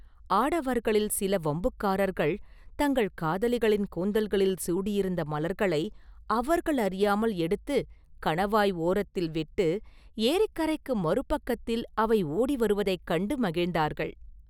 ஆடவர்களில் சில வம்புக்காரர்கள் தங்கள் காதலிகளின் கூந்தல்களில் சூடியிருந்த மலர்களை அவர்கள் அறியாமல் எடுத்து கணவாய் ஓரத்தில் விட்டு ஏரிக்கரைக்கு மறு பக்கத்தில் அவை ஓடி வருவதைக் கண்டு மகிழ்ந்தார்கள்.